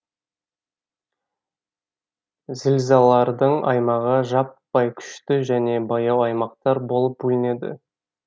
зілзалардың аймағы жаппай күшті және баяу аймақтар болып бөлінеді